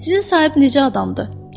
Sizin sahip necə adamdır?